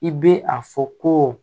I bɛ a fɔ ko